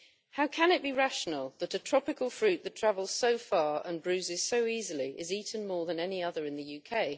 How can it be rational that a tropical fruit which travels so far and bruises so easily is eaten more than any other in the UK?